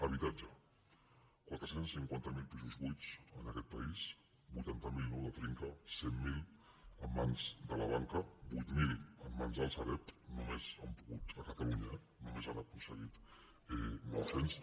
habitatge quatre cents i cinquanta miler pisos buits en aquest país vuitanta miler nous de trinca cent miler en mans de la banca vuit mil en mans dels sareb a catalunya eh només n’han aconseguit nou cents